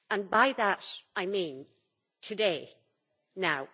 By that I mean today, now.